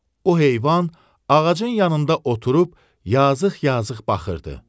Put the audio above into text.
O heyvan ağacın yanında oturub yazıq-yazıq baxırdı.